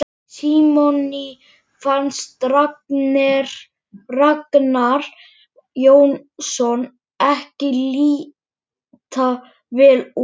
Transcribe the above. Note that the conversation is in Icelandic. Nei, Jón bóndi í Sæbóli, hélt þingmaðurinn áfram.